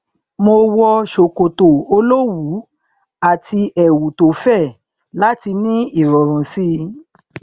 mo wọ ṣòkòtò olówùú àti ẹwù tó fẹ láti ní ìrọrùn sí i